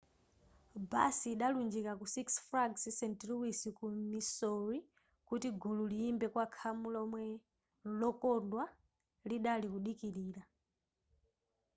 basi idalunjika ku six flags st louis ku missouri kuti gulu liyimbe kwa khamu lomwe llokondwa lidali kudikilira